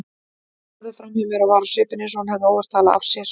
Horfði framhjá mér og var á svipinn eins og hún hefði óvart talað af sér.